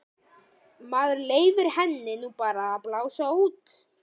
Maður leyfir henni nú bara að blása út.